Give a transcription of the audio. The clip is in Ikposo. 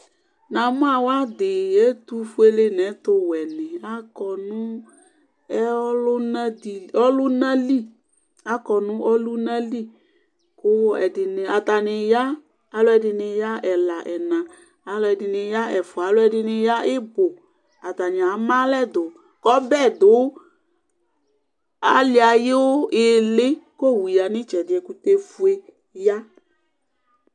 Namu awʋ adi ɛtufuele nʋ ɛtʋwɛ atɔ nʋ ɔlʋna li kʋ atani ya alʋɛdini ya ɛla ɛna alʋɛdini ya ɛfʋa alʋedini ya ibʋ atani ama alɛ dʋ kʋ ɔbɛ dʋ ali ayʋ iili kʋ owʋ yanʋ itsɛdi yɛ kʋ ɛkʋtɛfue ya